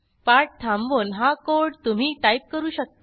पाठ थांबवून हा कोड तुम्ही टाईप करू शकता